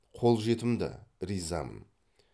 қолжетімді ризамын